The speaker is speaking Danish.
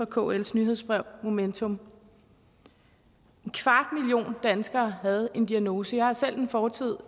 kls nyhedsbrev momentum en kvart million danskere havde en diagnose jeg har selv en fortid